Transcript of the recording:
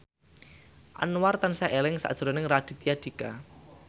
Anwar tansah eling sakjroning Raditya Dika